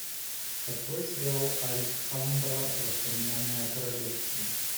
открой сериал альхамбра воспоминания о королевстве